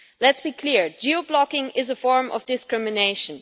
Let us be clear geo blocking is a form of discrimination.